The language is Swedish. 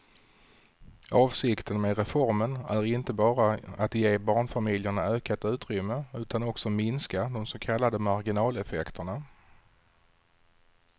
Avsikten med reformen är inte bara att ge barnfamiljerna ökat utrymme utan också minska de så kallade marginaleffekterna.